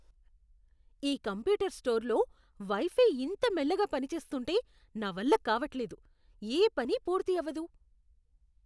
ఈ కంప్యూటర్ స్టోర్లో wifi ఇంత మెల్లగా పనిచేస్తుంటే నా వల్ల కావట్లేదు. ఏ పని పూర్తి అవ్వదు.